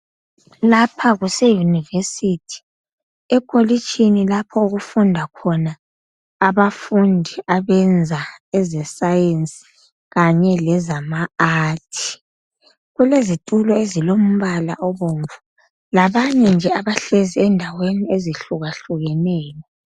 Lapha kuseYunivesithi ekolitshini lapha okufunda khona abafundi abenza ezeScience kanye lezama Art. Kulezitulo ezilombala obomvu labanye nje abahlezi endaweni ezihlukahlukeneyo